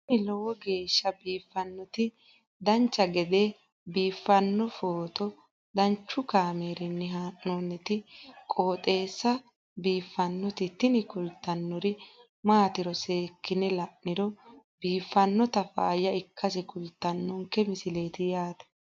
tini lowo geeshsha biiffannoti dancha gede biiffanno footo danchu kaameerinni haa'noonniti qooxeessa biiffannoti tini kultannori maatiro seekkine la'niro biiffannota faayya ikkase kultannoke misileeti yaate